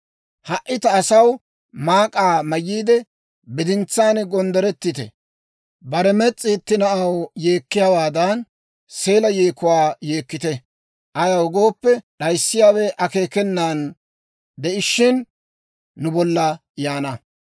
Ha"i ta asaw, maak'aa mayyiide, bidintsaan gonddorettite; bare mes's'i itti na'aw yeekkiyaawaadan seela yeekuwaa yeekkite. Ayaw gooppe, d'ayissiyaawe akeekenan de'ishiina, nu bolla yaana.